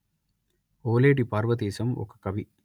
ఓలేటి పార్వతీశం ఒక కవి